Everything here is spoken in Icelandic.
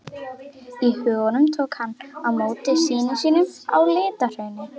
í huganum tók hann á móti syni sínum á LitlaHrauni.